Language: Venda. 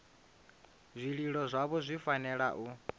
zwililo zwavho zwi fanela u